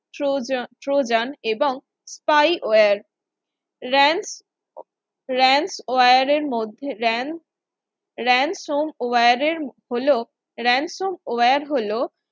trojan trojan এবং spywareram ransomware এর মধ্যে ram ransomware এর হলো ransomware হলো